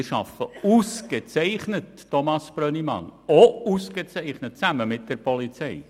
Wir arbeiten ausgezeichnet mit der Polizei zusammen, Thomas Brönnimann.